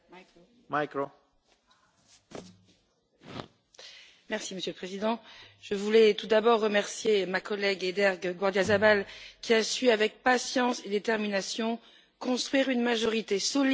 Monsieur le Président, je voulais tout d'abord remercier ma collègue Eider Gardiazabal Rubial qui a su, avec patience et détermination, construire une majorité solide au Parlement et faire valoir cette position lors du trilogue.